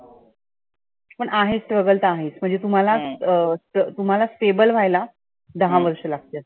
पण आहे struggle तर आहेच. म्हणजे तुम्हाला अं त तुम्हाला stable व्हायला दहा वर्ष लागतात.